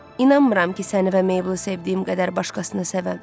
İnanmıram ki, səni və Meyblı sevdiyim qədər başqasını sevəm.